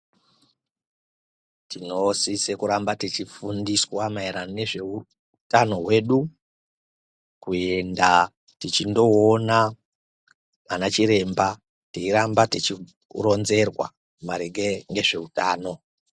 Tinosisa kuramba tichifundiswa maererano nezveutano hwedu. Kuenda tichindoona anachiremba teiramba tichironzerwa maringe ngezvetano.